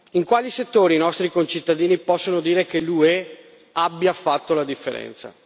In quali settori i nostri concittadini possono dire che l'UE abbia fatto la differenza?